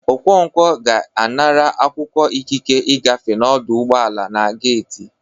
Okonkwọ ga-anara akwụkwọ ikike igafe n'ọdụ ụgbọ ala na geiti